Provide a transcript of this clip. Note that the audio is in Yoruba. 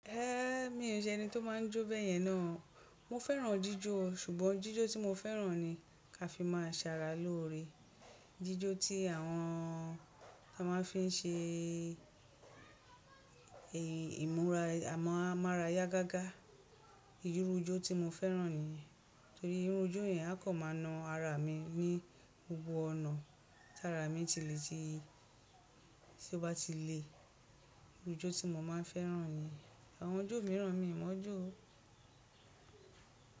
Mi n nṣe ẹni tó máa ń jó bẹ́yẹn náà. Mo fẹ́ràn jíjó ṣùgbọ́n jíjó tí mo fẹ́ràn ni kí a fi máa sàrà lóore, jíjó tí àwọn tí a máà ń fi n ṣe ìmúra, àmọ́ a máa rà yá gágá. Irú ijó tí mo fẹ́ràn nìyẹn torí irú ijó yẹn á kàn máa na ara mi ní gbogbo ọ̀nà. Tá ara mi bá ti le ti, tọ́ bá ti le. Irú ijó tí mo máa ń fẹ́ràn nìyẹn. Àwọn ojú mìíràn mi ìmọ̀ ojú o.